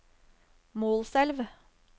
Målselv